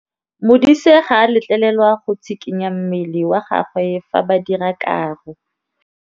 Modise ga a letlelelwa go tshikinya mmele wa gagwe fa ba dira karô.